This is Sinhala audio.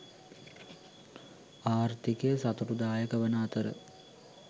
ආර්ථිකය සතුටුදායක වන අතර